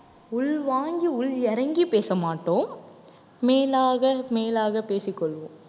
உள்வாங்கி உள் இறங்கி பேச மாட்டோம் மேலாக மேலாக பேசிக்கொள்வோம்